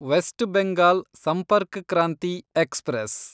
West Bengal Sampark Kranti express